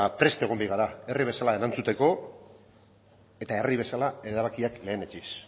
prest egon behar gara herri bezala erantzuteko eta herri bezala erabakiak lehenetsiz